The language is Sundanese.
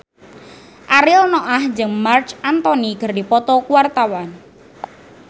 Ariel Noah jeung Marc Anthony keur dipoto ku wartawan